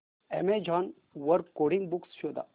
Amazon वर coding books शोधा